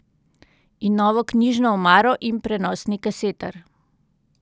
In novo knjižno omaro in prenosni kasetar.